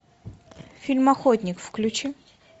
фильм охотник включи